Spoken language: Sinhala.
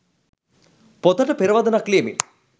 පොතට පෙරවදනක් ලියමින්